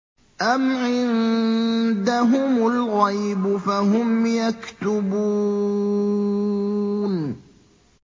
أَمْ عِندَهُمُ الْغَيْبُ فَهُمْ يَكْتُبُونَ